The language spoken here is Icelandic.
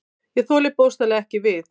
Ég þoli bókstaflega ekki við.